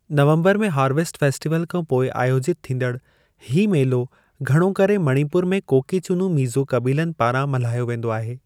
नवम्बर में harvest festival खां पोइ आयोजितु थींदड़ु, ही मेलो घणो करे मणिपुर में कोकी-चुनु-मीज़ो क़बीलनि पारां मल्हायो वेंदो आहे।